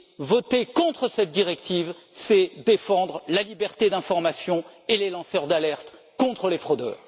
Voter contre cette directive, c'est défendre la liberté d'information et les lanceurs d'alerte contre les fraudeurs.